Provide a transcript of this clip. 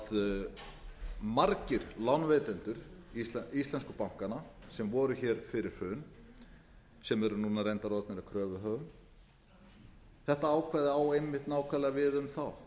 að margir lánveitendur íslensku bankanna sem voru hér fyrir hrun sem eru núna reyndar orðnir að kröfuhöfum þetta ákvæði á einmitt nákvæmlega við um þá